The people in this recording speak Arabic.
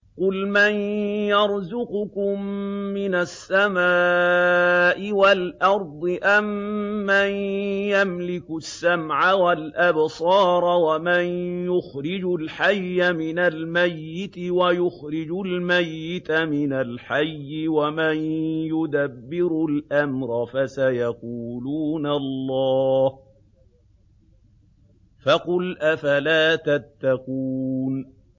قُلْ مَن يَرْزُقُكُم مِّنَ السَّمَاءِ وَالْأَرْضِ أَمَّن يَمْلِكُ السَّمْعَ وَالْأَبْصَارَ وَمَن يُخْرِجُ الْحَيَّ مِنَ الْمَيِّتِ وَيُخْرِجُ الْمَيِّتَ مِنَ الْحَيِّ وَمَن يُدَبِّرُ الْأَمْرَ ۚ فَسَيَقُولُونَ اللَّهُ ۚ فَقُلْ أَفَلَا تَتَّقُونَ